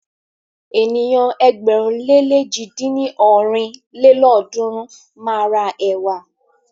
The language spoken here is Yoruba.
Ènìyàn ẹgbẹ̀rún le lèjì dín ní ọ́rin lélọ́ọ̀dúnrún máa ra ẹ̀wà.